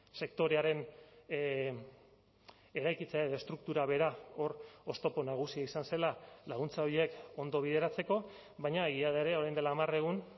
sektorearen eraikitzea edo estruktura bera hor oztopo nagusia izan zela laguntza horiek ondo bideratzeko baina egia da ere orain dela hamar egun